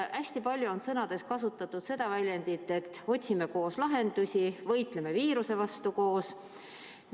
Hästi palju on kasutatud seda väljendit, et otsime koos lahendusi, võitleme viiruse vastu koos.